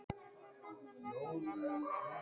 Karen: Og hver endurgreiðir farþegunum miðana?